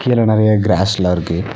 இதுல நெறைய கிராஸ் எல்லா இருக்கு.